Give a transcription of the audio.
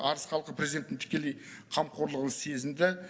арыс халқы президенттің тікелей қамқорлығын сезінді